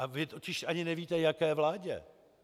A vy totiž ani nevíte, jaké vládě.